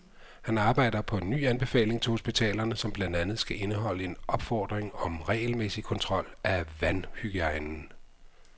Han arbejder på en ny anbefaling til hospitalerne, som blandt andet skal indeholde en opfordring om regelmæssig kontrol af vandhygiejnen.